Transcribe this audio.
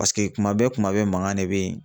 Paseke kuma bɛɛ kuma bɛɛ mankan de bɛ yen